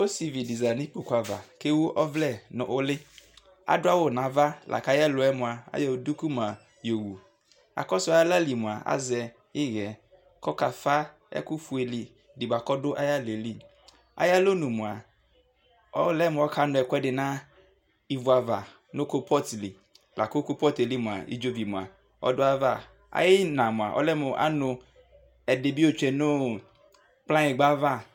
Ɔsivi dι zati nu kpoku kʋ ɛwʋ ɔvlɛ nu lιAdu awu navaAyɛ lu yɛ mua ayɔ duku yɔ wuAkɔsu aɣla lι mua tazɛ iɣɛ kɔka fa ɛkʋ fue dι kɔdu aya ɣla yɛ liAyɔ lɔnu mua, ɔlɛ mɔka nu ɛkuɛ di ni vua ava nu kolpɔt lιLakʋ kolpɔt yɛ lι mua udzovi ɔdua aya vaAyʋ iyi na mua ɔlɛ mu anu ɛdi bi yɔ tsue nu kplɔanyigba va